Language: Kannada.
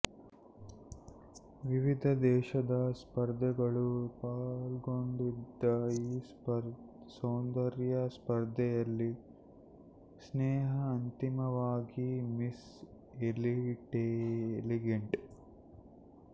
ವಿವಿಧ ದೇಶದ ಸ್ಪರ್ಧಿಗಳು ಪಾಲ್ಗೊಂಡಿದ್ದ ಈ ಸೌಂದರ್ಯ ಸ್ಪರ್ಧೆಯಲ್ಲಿ ಸ್ನೇಹ ಅಂತಿಮವಾಗಿ ಮಿಸ್ ಎಲಿಗೆಂಟ್